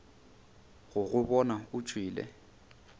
go go bona o tšwele